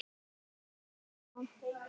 Þá reyndi á.